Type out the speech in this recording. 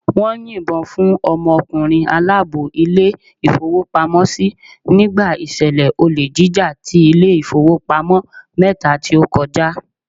Wón yìn bo fún ọmọ ọkùnrin aláàbò Ilé ìfowópamósí nígbà ìṣẹ̀lẹ̀ olè jíjà ti Ilé ìfowópamọ́ mẹ́ta tí ó kọjá